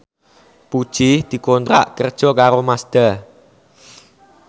Puji dikontrak kerja karo Mazda